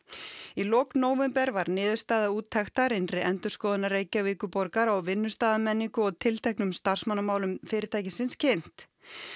í lok nóvember var niðurstaða úttektar innri endurskoðunar Reykjavíkurborgar á vinnustaðarmenningu og tilteknum starfsmannamálum fyrirtækisins kynnt